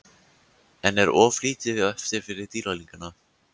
En er of lítið eftir fyrir Dýrlingana?